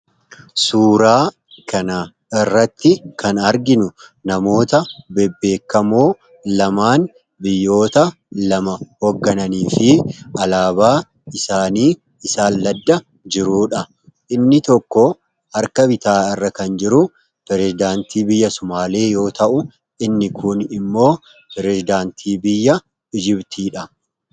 Suuraa kan irratti kan arginu namoota bebbeekamoo lamaan biyyoota lama hooggananii fi alaabaa isaanii isaan ladda jiruudha. Inni tokko harka bitaa irra kan jiru pireezidaantii biyya Sumaalee yoo ta'u inni kuun immoo pireezidaantii biyya Misiriidha.